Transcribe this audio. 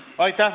Aitäh!